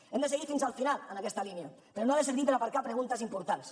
hem de seguir fins al final en aquesta línia però no ha de servir per aparcar preguntes importants